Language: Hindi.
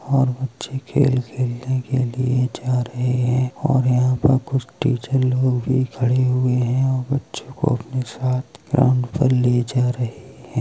और बच्चे खेल खेलने के लिए जा रहे है और यहाँ पर कुछ टीचर लोग भी खड़े हुए है और बच्चों को अपने साथ ग्राउन्ड पर ले जा रहे हैं।